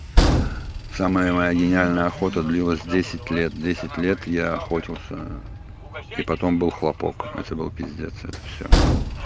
самая моя гениальная охота длилась десять лет десят лет я охотился и потом был хлопок это был пиздец это всё